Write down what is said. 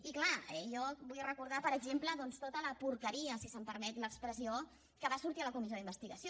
i és clar jo vull recordar per exemple doncs tota la porqueria si se’m permet l’expressió que va sortir a la comissió d’investigació